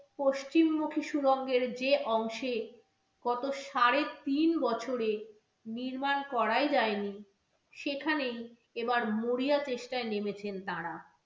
পশ্চিমমুখী সুড়ঙ্গের যে অংশে গত সাড়ে তিন বছরে নির্মাণ করাই যায় নি, সেখানেই এবার মরিয়া চেষ্টায় নেমেছেন তারা।